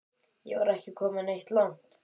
Ég var ekki kominn neitt langt.